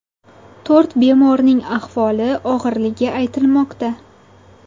To‘rt bemorning ahvoli og‘irligi aytilmoqda .